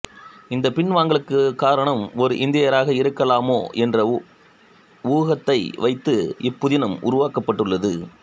இந்தப் பின்வாங்கலுக்கு காரணம் ஒரு இந்தியராக இருக்கலாமோ என்ற ஊகத்தை வைத்து இப்புதினம் உருவாக்கப்பட்டுள்ளது